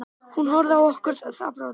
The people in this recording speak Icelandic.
Hún horfði á okkur ráðþrota.